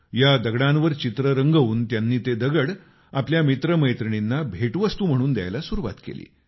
या दगडांवर चित्र रंगवून त्यांनी ते दगड आपल्या मित्रमैत्रिणींना भेटवस्तू म्हणून द्यायला सुरुवात केली